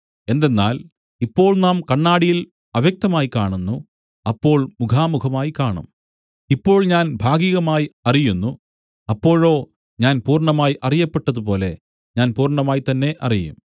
എന്തെന്നാൽ ഇപ്പോൾ നാം കണ്ണാടിയിൽ അവ്യക്തമായി കാണുന്നു അപ്പോൾ മുഖാമുഖമായി കാണും ഇപ്പോൾ ഞാൻ ഭാഗികമായി അറിയുന്നു അപ്പോഴോ ഞാൻ പൂർണ്ണമായി അറിയപ്പെട്ടതുപോലെ ഞാൻ പൂർണ്ണമായി തന്നെ അറിയും